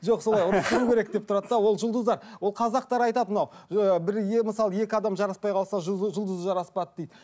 жоқ солай ұрысу керек деп тұрады да ол жұлдыздар ол қазақтар айтады мынау ы бірге мысалы екі адам жараспай қалса жұлдыз жұлдызы жараспады дейді